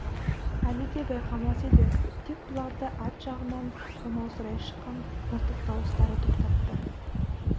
әлі де байқамас еді тек бұларды арт жағынан талмаусырай шыққан мылтық дауыстары тоқтатты